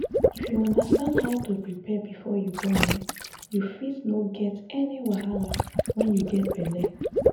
if you understand how to prepare before you born[um]you fit no get any wahala wen you get belle